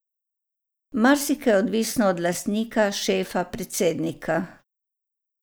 Marsikaj je odvisno od lastnika, šefa, predsednika.